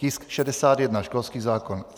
Tisk 61, školský zákon.